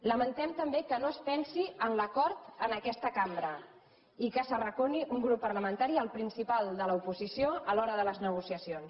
lamentem també que no es pensi en l’acord en aquesta cambra i que s’arraconi un grup parlamenta·ri el principal de l’oposició a l’hora de les negociacions